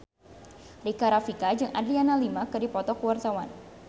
Rika Rafika jeung Adriana Lima keur dipoto ku wartawan